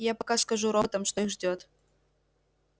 я пока скажу роботам что их ждёт